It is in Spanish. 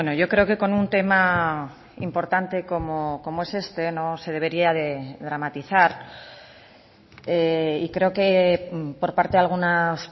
yo creo que con un tema importante como es este no se debería de dramatizar y creo que por parte de algunas